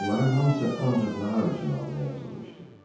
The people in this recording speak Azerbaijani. Onların hamısı ancaq nahar üçün abunə yazılmışdı.